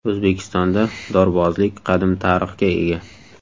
O‘zbekistonda dorbozlik qadim tarixga ega.